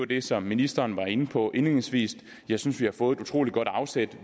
det som ministeren var inde på indledningsvis jeg synes vi har fået utrolig godt afsæt